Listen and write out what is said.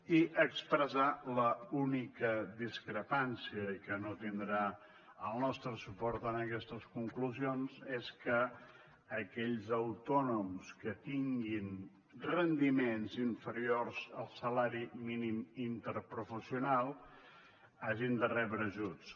i expressar l’única discrepància i que no tindrà el nostre suport en aquestes conclusions és que aquells autònoms que tinguin rendiments inferiors al salari mínim interprofessional hagin de rebre ajuts